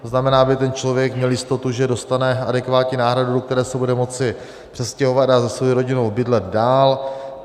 To znamená, aby ten člověk měl jistotu, že dostane adekvátní náhradu, do které se bude moci přestěhovat a se svou rodinou bydlet dál.